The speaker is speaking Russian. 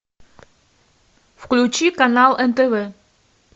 включи канал нтв